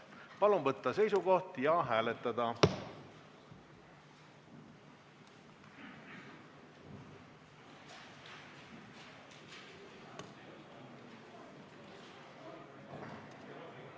Palun võtta seisukoht ja hääletada!